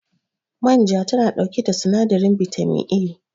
Manja tana ɗauke da sinadarin bitamin A